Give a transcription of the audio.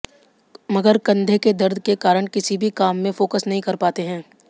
मगर कंधे के दर्द के कारण किसी भी काम में फोकस नहीं कर पाते है